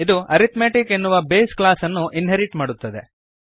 ಇದು ಅರಿಥ್ಮೆಟಿಕ್ ಎನ್ನುವ base class ಅನ್ನು ಇನ್ಹೆರಿಟ್ ಮಾಡುತ್ತದೆ